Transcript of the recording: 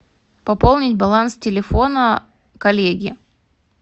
пополнить баланс телефона коллеги